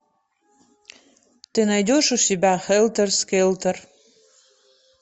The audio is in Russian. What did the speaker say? ты найдешь у себя хелтер скелтер